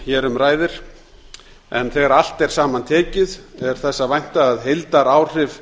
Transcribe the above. hér um ræðir en þegar allt er saman tekið er þess að vænta að heildaráhrif